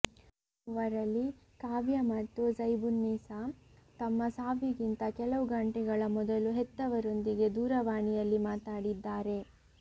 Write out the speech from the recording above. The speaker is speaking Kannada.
ಈ ಮೂವರಲ್ಲಿ ಕಾವ್ಯ ಮತ್ತು ಝೈಬುನ್ನಿಸಾ ತಮ್ಮ ಸಾವಿಗಿಂತ ಕೆಲವು ಗಂಟೆಗಳ ಮೊದಲು ಹೆತ್ತವರೊಂದಿಗೆ ದೂರವಾಣಿಯಲ್ಲಿ ಮಾತಾಡಿದ್ದಾರೆ